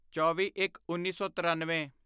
ਚੌਵੀਇੱਕਉੱਨੀ ਸੌ ਤਿਰਨਵੇਂ